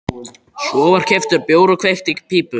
Svo var keyptur bjór og kveikt í pípu.